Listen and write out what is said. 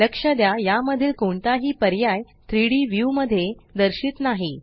लक्ष द्या यामधील कोणताही पर्याय 3डी व्यू मध्ये दर्शित नाही